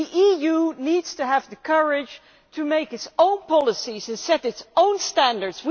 The EU needs to have the courage to make its own policies and set its own standards.